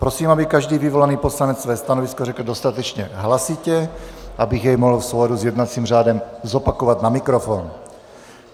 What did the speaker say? Prosím, aby každý vyvolaný poslanec své stanovisko řekl dostatečně hlasitě, abych jej mohl v souladu s jednacím řádem zopakovat na mikrofon.